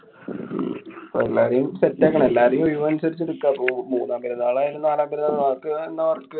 എല്ലാരേം set ആക്കണം. എല്ലാരേം ഒഴിവനുസരിച്ച് എടുക്കാം. റൂ~ മൂന്നാം പെരുന്നാളായാലും നാലാം പെരുന്നാളായാലും അനക്ക് എന്നാ work